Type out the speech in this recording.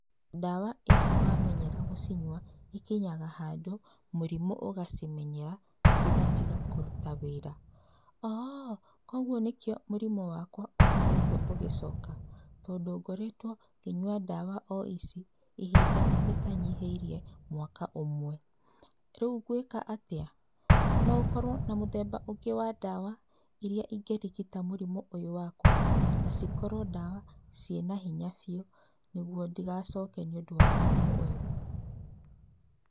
Ndawa ĩci wa menyera gũciĩnywa ĩkinyaga handũ mũrimũ ũgacimenyera, cigatiga kũruta wĩra. ''Oo, kogwo nĩkĩo mũrimũ wakwa ũkoretwo ũgĩcoka? tondũ ngoretwo ngĩnyua ndawa o ici ihinda rĩtanyiheĩrie mwaka ũmwe. Reũ ngwĩka atĩa?, no ũkorwo na mũthemba ũngĩ wa dawa ĩrĩa ĩngĩrigĩta mũrimũ ũyũ wakwa na cikorwo dawa ciĩna hinya bĩũ nĩgũo ndĩgacoke nĩ ũndũ wa mũrimũ ũyũ ?''